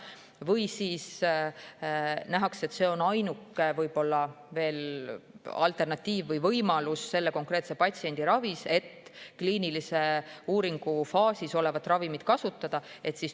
Või siis nähakse, et ainuke võimalus selle konkreetse patsiendi ravis on kliinilise uuringu faasis olevat ravimit kasutada.